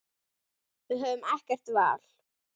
Við höfðum ekkert val.